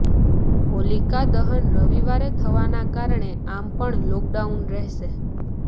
હોલિકા દહન રવિવારે થવાના કારણે આમ પણ લોકડાઉન રહેશે